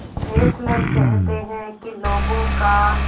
Fessler कहते हैं कि लोगों का